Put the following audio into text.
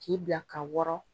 K'i bila ka wɔrɔn